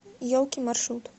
елки маршрут